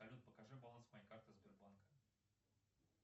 салют покажи баланс моей карты сбербанка